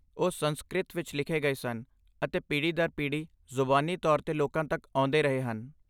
ਉਹ ਸੰਸਕ੍ਰਿਤ ਵਿੱਚ ਲਿਖੇ ਗਏ ਸਨ ਅਤੇ ਪੀੜ੍ਹੀ ਦਰ ਪੀੜ੍ਹੀ ਜ਼ੁਬਾਨੀ ਤੌਰ 'ਤੇ ਲੋਕਾਂ ਤੱਕ ਆਉਂਦੇ ਰਹੇ ਹਨ।